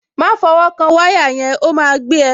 Má fọwọ́ kan wáyà yẹn, ó máa gbé ẹ.